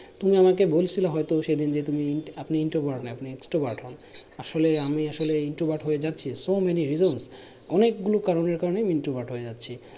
তুমি আমাকে বলছিলা হয়তো সেদিন যে তুমি আপনি introvert না আপনি extrovert হন আসলে আমি আসলে introvert হয়ে যাচ্ছি so many reasons অনেক গুলো কারণের কারণে আমি introvert হয়ে যাচ্ছি